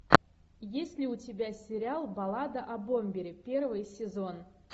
есть ли у тебя сериал баллада о бомбере первый сезон